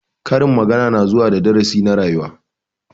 Karin magana na zuwa da darasi na rayuwa.